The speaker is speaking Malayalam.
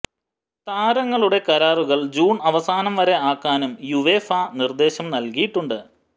താരങ്ങളുടെ കരാറുകൾ ജൂൺ അവസാനം വരെ ആക്കാനും യുവേഫ നിർദേശം നൽകിയിട്ടുണ്ട്